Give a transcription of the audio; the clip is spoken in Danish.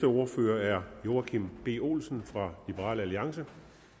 ordfører er herre joachim b olsen fra liberal alliance